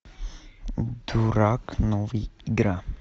дурак новый игра